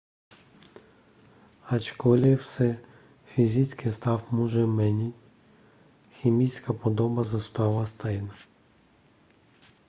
ačkoliv se fyzický stav může měnit chemická podoba zůstává stejná